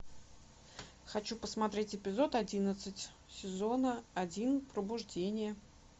хочу посмотреть эпизод одиннадцать сезона один пробуждение